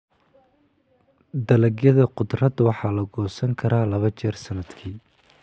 Dalagyada khudradda waxaa la goosan karaa laba jeer sannadkii.